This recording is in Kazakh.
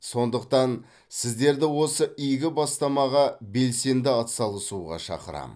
сондықтан сіздерді осы игі бастамаға белсенді атсалысуға шақырамын